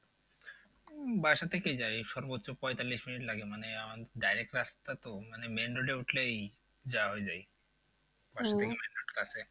উম বাসা থেকেই যাই সর্বোচ্চ পঁয়তাল্লিশ minutes লাগে মানে direct রাস্তা তো মানে main road এ উঠলেই যাওয়া হয়ে যায়। main road কাছে।